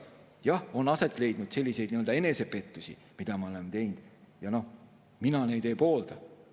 Jah, on olnud selliseid enesepettusi, millega me oleme tegelenud, ja mina neid ei poolda.